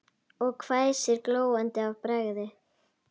Og hvæsir, glóandi af bræði.